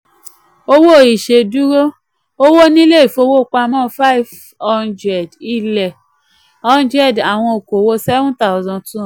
owó ìṣèdúró: owó nílé ìfowópamọ́ 500 ilẹ̀ 100 àwọn òkòwò 7200.